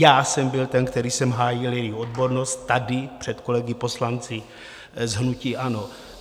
Já jsem byl ten, který jsem hájil její odbornost tady, před kolegy poslanci z hnutí ANO.